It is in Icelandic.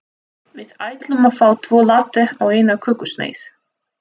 Við ætlum að fá tvo latte og eina kökusneið.